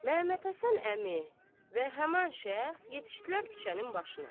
Məmmədhəsən əmi və həman şəxs yetişdilər küçənin başına.